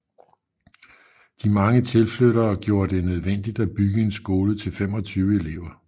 De mange tilflyttere gjorde det nødvendigt at bygge en skole til 25 elever